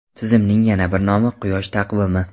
Tizimning yana bir nomi – quyosh taqvimi.